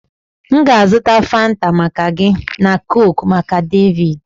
M ga-azụta Fanta maka gị na coke maka David